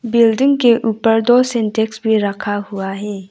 Building के ऊपर दो सिंटेक्स भी रखा हुआ है।